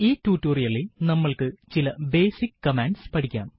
ഈ ടുട്ടോറിയലിൽ നമ്മൾക്ക് ചില ബേസിക് കമാൻഡ്സ് പഠിക്കാം